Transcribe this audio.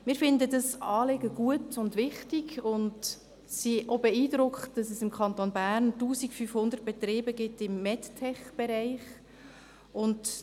Wir halten dieses Anliegen für gut und wichtig und sind auch beeindruckt, dass es im Kanton Bern 1500 Betriebe im Medtech-Bereich gibt.